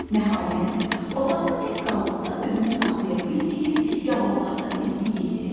Nəhayət, otaqda tək qaldıqda özünü saxlaya bilməyib, gavallardan birini yedi.